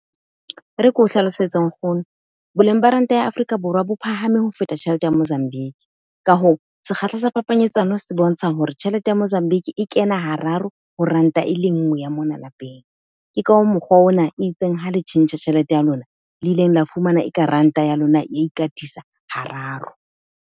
E re ke o hlalosetsa nkgono. Boleng ba ranta ya Africa Borwa bo phahame ho feta tjhelete ya Mozambique. Ka hoo sekgahla sa phapanyetsano se bontsha hore tjhelete ya Mozambique e kena hararo ho rand-a e le nngwe ya mona lapeng. Ke ka mokgwa ona e itseng ha le tjhentjha tjhelete ya lona, le ileng la fumana e ka ranta ya lona, ikatisa hararo.